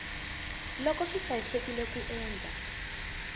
loko swi hlayisekile ku endla